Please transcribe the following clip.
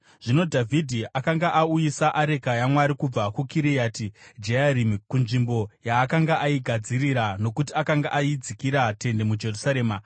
Zvino Dhavhidhi akanga auyisa areka yaMwari kubva kuKiriati Jearimi kunzvimbo yaakanga aigadzirira nokuti akanga aidzikira tende muJerusarema.